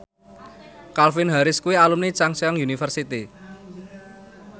Calvin Harris kuwi alumni Chungceong University